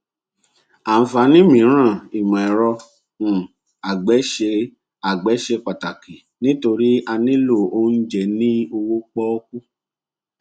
àǹfààní mìíràn ìmọẹrọ um àgbẹ ṣe àgbẹ ṣe pàtàkì nítorí a nílò oúnjẹ ní owó pọkú